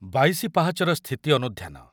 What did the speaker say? ବାଇଶି ପାହାଚର ସ୍ଥିତି ଅନୁଧ୍ୟାନ